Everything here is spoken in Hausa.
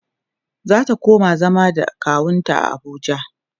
zata koma zama da kawunta a Abuja